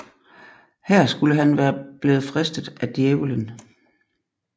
Her skulle han være blevet fristet af Djævelen